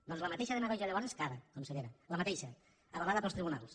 doncs la mateixa demagògia llavors que ara consellera la mateixa avalada pels tribunals